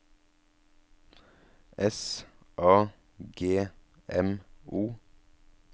S A G M O